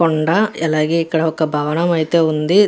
కొండ అలాగే ఇక్కడ ఒక భవనం అయితేవుంది.